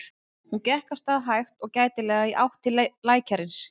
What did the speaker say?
Hún gekk af stað hægt og gætilega í átt til lækjarins.